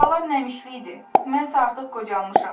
Buralar nəmişlik idi, mən isə artıq qocalmışam.